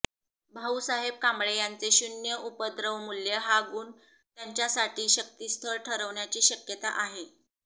भाऊसाहेब कांबळे यांचे शून्य उपद्रवमूल्य हा गुण त्यांच्यासाठी शक्तीस्थळ ठरण्याची शक्यता आहे